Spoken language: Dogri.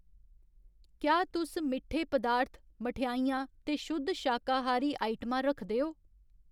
क्या तुस मिट्ठे पदार्थ, मठेआइयां ते शुद्ध शाकाहारी आइटमां रखदे ओ ?